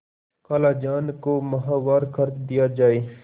खालाजान को माहवार खर्च दिया जाय